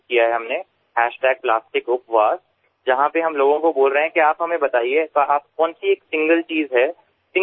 આપણે પ્લાસ્ટિકપવાસ જ્યાં આપણે લોકોને કહી રહ્યા છીએ કે તમે અમને કહો તમે કઈ સિંગલ ચીજ છે કોઈ પણ સિંગલ યુઝ